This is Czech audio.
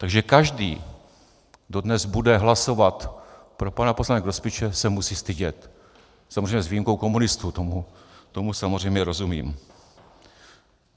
Takže každý, kdo dnes bude hlasovat pro pana poslance Grospiče, se musí stydět - samozřejmě s výjimkou komunistů, tomu samozřejmě rozumím.